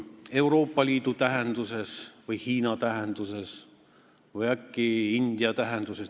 Euroopa Liidu tähenduses või Hiina tähenduses või äkki India tähenduses?